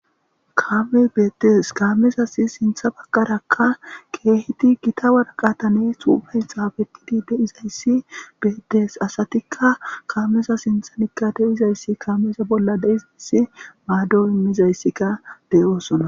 kaame beettees kaamezasi sintha bagkarakka keeheti gita warqatanee xuufay xaafekidi deizayssi beetees asatikka kaamesa sintha nika de izayssi kaamesa bolla deizayssi maaddo immizayssika de7oosona